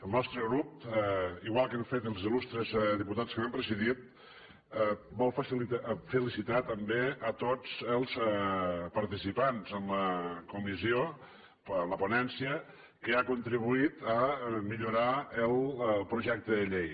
el nostre grup igual que han fet els il·lustres diputats que m’han precedit vol felicitar també tots els participants en la comissió en la ponència que han contribuït a millorar el projecte de llei